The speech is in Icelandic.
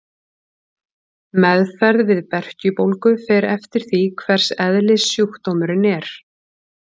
Meðferð við berkjubólgu fer eftir því hvers eðlis sjúkdómurinn er.